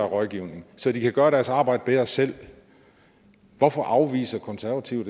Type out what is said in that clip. rådgivning så de kan gøre deres arbejde bedre selv hvorfor afviser konservative